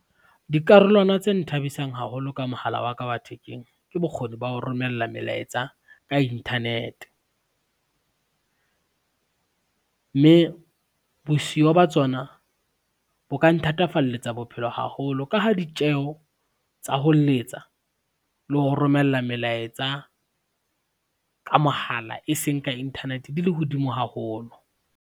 Dikarolwana tse nthabisang haholo ka mohala wa ka wa thekeng ke bokgoni ba ho romella melaetsa ka internet. Mme bosiyo ba tsona bo ka nthatafalletsa bophelo haholo ka ha ditjeho tsa ho letsa le ho romella melaetsa, ka mohala e seng ka internet di le hodimo haholo.